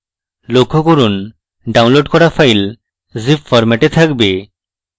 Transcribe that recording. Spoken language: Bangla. লক্ষ্য করুন ডাউনলোড করা file zip ফরম্যাটে থাকবে